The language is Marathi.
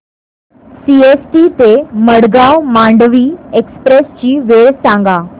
सीएसटी ते मडगाव मांडवी एक्सप्रेस ची वेळ सांगा